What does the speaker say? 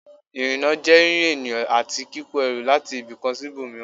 Ìrìnnà jẹ́ rírìn ènìyàn àti kíkó ẹrù láti ibì kan sí ibòmíràn